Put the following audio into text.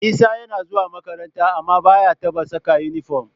Isa yana zuwa makaranta amma ba ya taɓa saka inifom